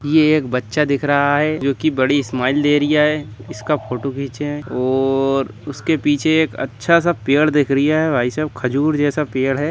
ये एक बच्चा दिख रहा है जो की बड़ी स्माइल दे रिया है इसका फोटो घिंचे है और उसके पीछे एक अच्छा सा पेड़ दिख रिया और उसके पीछे अच्छा सा पेड़ दिख रिया है भाईसाब खजूर जैसा पेड़ है।